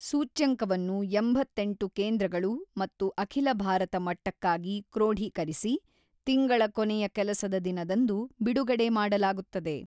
ಸೂಚ್ಯಂಕವನ್ನು ಎಂಬತ್ತೆಂಟು ಕೇಂದ್ರಗಳು ಮತ್ತು ಅಖಿಲ ಭಾರತ ಮಟ್ಟಕ್ಕಾಗಿ ಕ್ರೋಢೀಕರಿಸಿ, ತಿಂಗಳ ಕೊನೆಯ ಕೆಲಸದ ದಿನದಂದು ಬಿಡುಗಡೆ ಮಾಡಲಾಗುತ್ತದೆ.